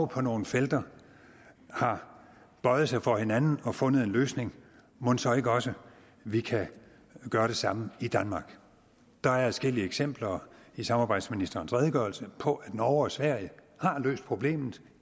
på nogle felter har bøjet sig for hinanden og fundet en løsning mon så ikke også vi kan gøre det samme i danmark der er adskillige eksempler i samarbejdsministerens redegørelse på at norge og sverige har løst problemet